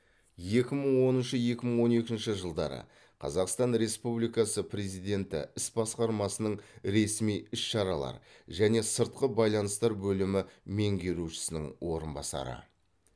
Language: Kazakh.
екі мың оныншы екі мың он екінші жылдары қазақстан республикасы президенті іс басқармасының ресми іс шаралар және сыртқы байланыстар бөлімі меңгерушісінің орынбасары